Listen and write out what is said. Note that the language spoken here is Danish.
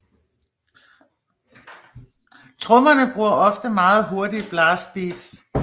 Trommerne bruger ofte meget hurtige blast beats